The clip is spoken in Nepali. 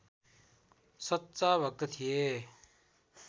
सच्चा भक्त थिए